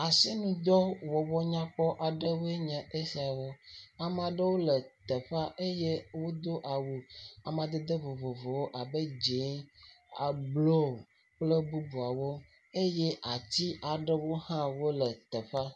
Asinudɔ wɔwɔ nyakpɔ aɖewoe nye esiwo. Ame aɖewo le teƒe eye wodo awu amadede vovovowo abe dzɛ̃, blu, kple bubuawo eye ati ha aɖewo le teƒea.